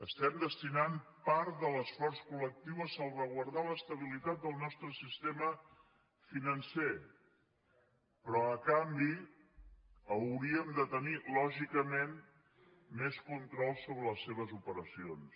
estem destinant part de l’esforç col·lectiu a salvaguardar l’estabilitat del nostre sistema financer però a canvi hauríem de tenir lògicament més control sobre les seves operacions